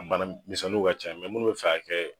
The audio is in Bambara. Bana misɛnniw ka ca munnu bɛ fɛ a ka kɛ.